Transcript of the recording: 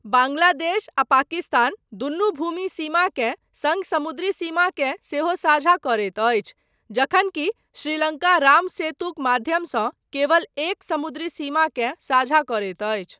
बाङ्ग्लादेश आ पाकिस्तान दुनू भूमि सीमाकेँ सङ्ग समुद्री सीमाकेँ सेहो साझा करैत अछि जखन कि श्रीलङ्का राम सेतुक माध्यमसँ केवल एक समुद्री सीमाकेँ साझा करैत अछि।